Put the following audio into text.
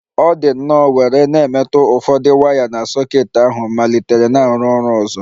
Ọ dị nnọọ were na-emetụ ụfọdụ waya na soket ahu malitere na-arụ ọrụ ọzọ